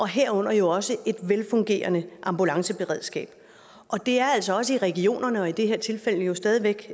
herunder jo også et velfungerende ambulanceberedskab og det er altså også regionerne i det her tilfælde stadig væk